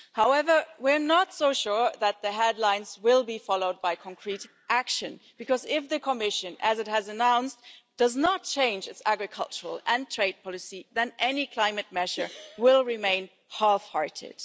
However, we're not so sure that the headlines will be followed by concrete action because if the Commission, as it has announced, does not change its agricultural and trade policy, then any climate measure will remain half-hearted.